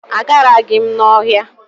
Agaraghị m ọhịa.